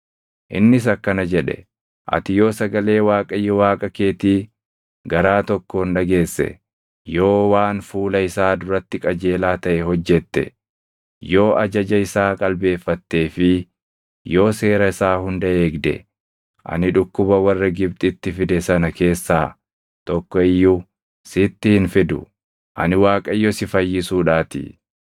Innis akkana jedhe; “Ati yoo sagalee Waaqayyo Waaqa keetii garaa tokkoon dhageesse, yoo waan fuula isaa duratti qajeelaa taʼe hojjette, yoo ajaja isaa qalbeeffattee fi yoo seera isaa hunda eegde, ani dhukkuba warra Gibxitti fide sana keessaa tokko iyyuu sitti hin fidu; ani Waaqayyo si fayyisuudhaatii.”